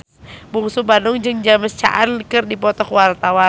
Bungsu Bandung jeung James Caan keur dipoto ku wartawan